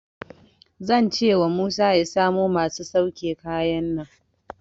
Zan cewa Musa ya samo masu sauke kayan nan.